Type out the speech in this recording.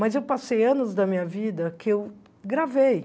Mas eu passei anos da minha vida que eu gravei.